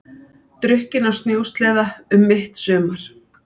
Drukkinn á snjósleða um mitt sumar